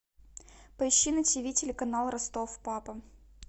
поищи на тиви телеканал ростов папа